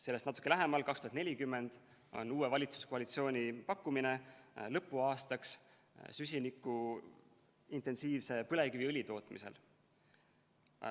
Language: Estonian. Sellest natuke lähemal, 2040, on uue valitsuskoalitsiooni pakkumine lõpuaastaks süsinikuintensiivse põlevkiviõli tootmisel.